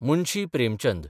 Munshi Premchand